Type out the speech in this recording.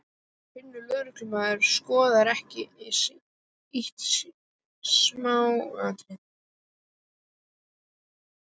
Flinkur lögreglumaður skoðar ekki síst smáatriðin.